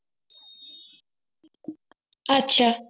আচ্ছা